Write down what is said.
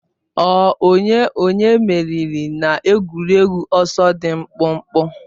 Ọ onye onye meriri n'egwuregwu ọsọ dị mkpụmkpụ